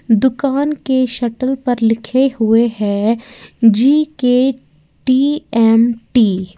दुकान के शटल पर लिखे हुए है जी_के टी_एम_टी ।